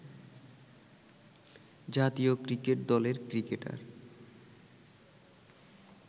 জাতীয় ক্রিকেট দলের ক্রিকেটার